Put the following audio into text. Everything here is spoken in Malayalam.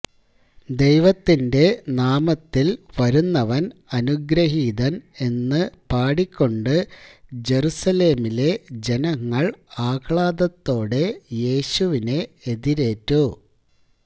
ദൈവത്തിന്റെ നാമത്തിൽ വരുന്നവൻ അനുഗ്രഹീതൻ എന്ന് പാടി കൊണ്ട് ജറുസലേമിലെ ജനങ്ങൾ ആഹ്ളാദത്തോടെ യേശുവിനെ എതിരേറ്റു